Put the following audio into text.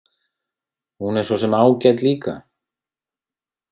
Hún er svo sem ágæt líka